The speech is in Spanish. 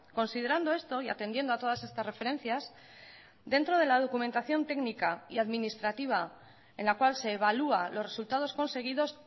considerando esto y atendiendo a todas estas referencias dentro de la documentación técnica y administrativa en la cual se evalúa los resultados conseguidos